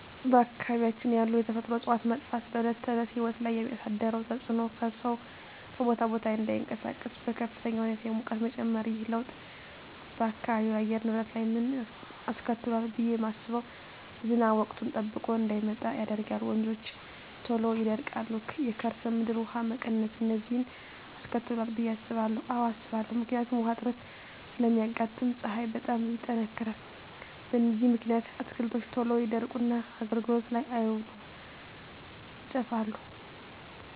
በአካባቢያችን ያሉ የተፈጥሮ እፅዋት መጥፋት በዕለት ተዕለት ሕይወት ላይ ያሣደረው ተፅኖ ሠው ከቦታ ቦታ እዳይንቀሣቀስ፤ በከፍተኛ ሁኔታ የሙቀት መጨመር። ይህ ለውጥ በአካባቢው የአየር ንብረት ላይ ምን አስከትሏል ብየ ማስበው። ዝናብ ወቅቱን ጠብቆ እዳይመጣ ያደርጋል፤ ወንዞች ቶሎ ይደርቃሉ፤ የከርሠ ምድር ውሀ መቀነስ፤ እነዚን አስከትሏል ብየ አስባለሁ። አዎ አስባለሁ። ምክንያቱም ውሀ እጥረት ስለሚያጋጥም፤ ፀሀይ በጣም ይጠነክራል። በዚህ ምክንያት አትክልቶች ቶሎ ይደርቁና አገልግሎት ላይ አይውሉም ይጠፋሉ።